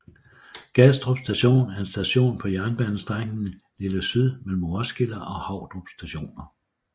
Gadstrup station er en station på jernbanestrækningen Lille Syd mellem Roskilde og Havdrup stationer